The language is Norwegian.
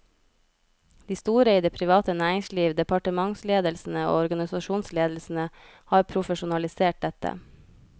De store i det private næringsliv, departementsledelsene og organisasjonsledelsene har profesjonalisert dette.